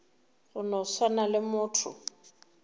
go no swana le motho